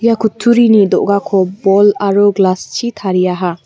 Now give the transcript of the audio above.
ia kutturini do·gako bol aro glass-chi tariaha.